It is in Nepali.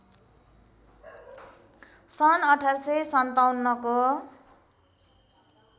सन् १८५७ को